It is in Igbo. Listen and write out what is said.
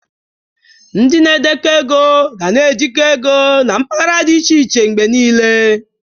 Ndị na-edekọ ego ga na ejikwa ego na mpaghara dị iche iche mgbe niile.